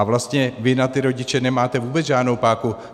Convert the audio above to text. A vlastně vy na ty rodiče nemáte vůbec žádnou páku.